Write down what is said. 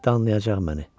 Danlayacaq məni.